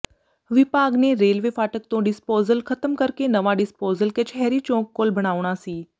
ਵਿਭਾਗ ਨੇ ਰੇਲਵੇ ਫਾਟਕ ਤੋਂ ਡਿਸਪੋਜ਼ਲ ਖ਼ਤਮ ਕਰਕੇ ਨਵਾਂ ਡਿਸਪੋਜ਼ਲ ਕਚਹਿਰੀ ਚੌਕ ਕੋਲ ਬਣਾਉਣਾ ਸੀ